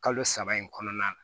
Kalo saba in kɔnɔna na